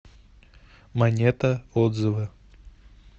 монета отзывы